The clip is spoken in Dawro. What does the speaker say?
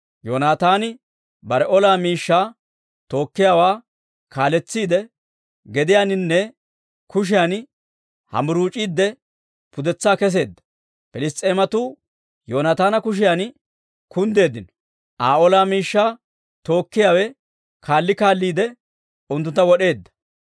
Yoonataani bare ola miishshaa tookkiyaawaa kaaletsiide, gediyaaninne kushiyan hambburuuc'iide pudetsaa kesseedda. Piliss's'eematuu Yoonaataana kushiyan kunddeeddino; Aa ola miishshaa tookkiyaawe kaalli kaalliide unttuntta wod'eedda.